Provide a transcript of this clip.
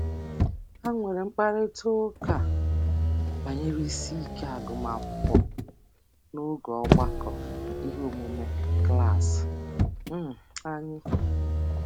Ha nwere mkparịtaụka banyere isiike agụmakwụkwọ n'oge ọgbakọ iheomume klaasị um anyị